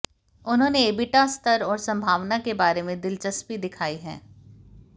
उन्होंने एबिटा स्तर और संभावना के बारे में दिलचस्पी दिखाई है